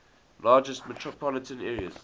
largest metropolitan areas